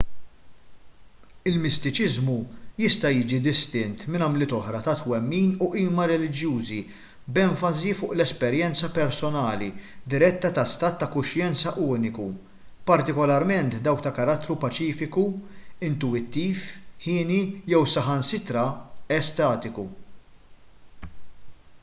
il-mistiċiżmu jista' jiġi distint minn għamliet oħra ta' twemmin u qima reliġjużi b'enfasi fuq l-esperjenza personali diretta ta' stat ta' kuxjenza uniku partikolarment dawk ta' karattru paċifiku intuwittiv hieni jew saħansitra estatiku